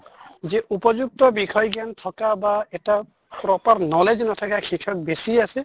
যে উপযুক্ত বিষয় জ্ঞান থকা বা এটা proper knowledge নাথাকা শিক্ষক বেছি আছে